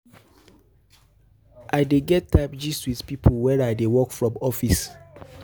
I dey get time gist wit pipo wen I dey work from office.